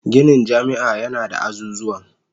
Ginin jami'a yana da azuzuwan